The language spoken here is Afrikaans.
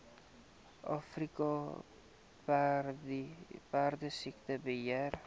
afrika perdesiekte beheer